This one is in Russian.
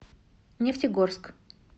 нефтегорск